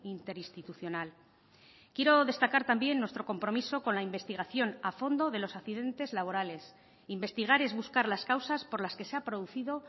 interinstitucional quiero destacar también nuestro compromiso con la investigación a fondo de los accidentes laborales investigar es buscar las causas por las que se ha producido